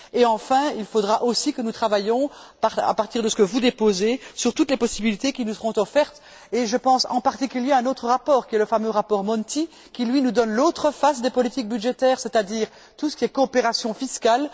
Enfin, il faudra aussi que nous travaillions, à partir de ce que vous déposez, sur toutes les possibilités qui nous seront offertes, et je pense en particulier à un autre rapport, le fameux rapport Monti qui nous présente l'autre face des politiques budgétaires, c'est à dire tout ce qui relève de la coopération fiscale.